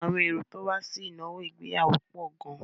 Àwọn èrò tó wá sí ìnáwó ìgbéyàwó pọ̀ gan-an.